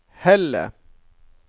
Helle